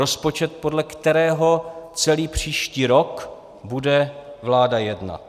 Rozpočet, podle kterého celý příští rok bude vláda jednat.